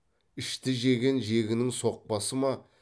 ішті жеген жегінің соқпасы ма